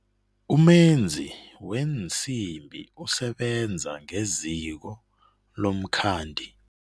Umenzi weensimbi usebenza ngeziko lomkhandi.